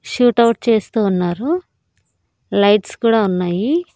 Shoot out చేస్తూ ఉన్నారు lights కూడా ఉన్నాయి.